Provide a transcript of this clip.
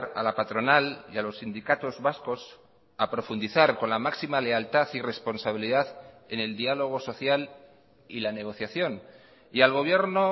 a la patronal y a los sindicatos vascos a profundizar con la máxima lealtad y responsabilidad en el diálogo social y la negociación y al gobierno